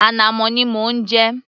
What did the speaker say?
Ànàmọ́ ni mò ń jẹ